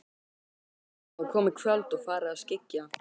Það var komið kvöld og farið að skyggja.